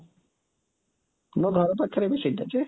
ମୋ ଘର ପାଖରେ ବି ସେଇଟା ଯେ,